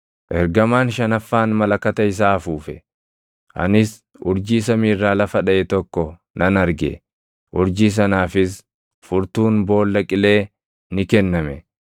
Ergamaan shanaffaan malakata isaa afuufe; anis urjii samii irraa lafa dhaʼe tokko nan arge. Urjii sanaafis furtuun “Boolla Qilee” ni kenname.